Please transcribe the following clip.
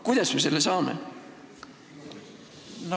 Kuidas me selle saame?